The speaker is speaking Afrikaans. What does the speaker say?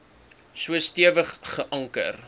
so stewig geanker